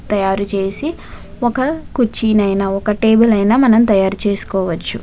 తాయారు చేసి ఒక కుర్చీనైనా ఒక టేబుల్ నైనా మనం తయారు చేస్కోవచ్చు.